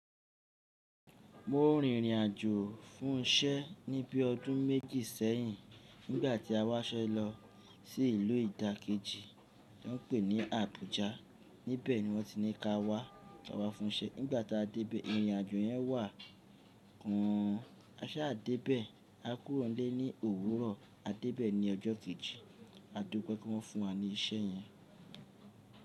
Mo rìn ìrìnàjò fún isẹ́ ni bí i ọdún méjì sẹ́yìn nígbà tí a wá iṣẹ́ lọ sí ìlú ìdákẹ́jì tó ń pè ní Abuja. Nibẹ̀ ni wọ́n ti ní ka wá, ka wá fún isẹ́. Nígbàtí a débẹ, ìrìnàjò yẹn wà kán. A sà dé bẹ́ẹ̀, a kúrò nílé ní òwúrọ̀, a dé bẹ́ẹ̀ ní ọjọ́ kejì. A dópe pé wọ́n fún wa ní isẹ́ yẹn.